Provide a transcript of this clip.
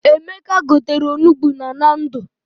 Emeka gotere onugbu na Nando.